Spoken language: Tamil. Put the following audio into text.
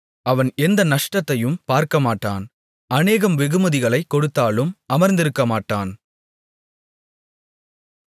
அவன் எந்த நஷ்டத்தையும் பார்க்கமாட்டான் அநேகம் வெகுமதிகளைக் கொடுத்தாலும் அமர்ந்திருக்கமாட்டான்